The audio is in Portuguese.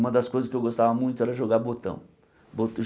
Uma das coisas que eu gostava muito era jogar botão.